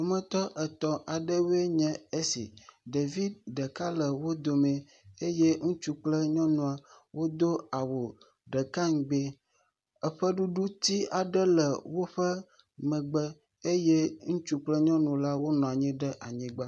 Ƒometɔ etɔ aɖewo nye esi. Ɖevi ɖeka le wò dome eye ŋutsu kple nyɔnua wo awu ɖeka ŋgbi. Ƒeɖuɖu ti ɖeka aɖe le woƒe megbe eye ŋutsu kle nyɔnula wo nɔ anyi ɖe anyigba